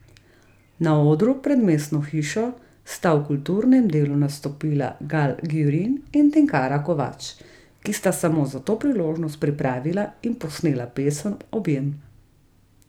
Na odru pred Mestno hišo sta v kulturnem delu nastopila Gal Gjurin in Tinkara Kovač, ki sta samo za to priložnost pripravila in posnela pesem Objem.